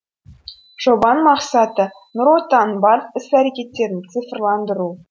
жобаның мақсаты нұр отанның барлық іс әрекеттерін цифрландыру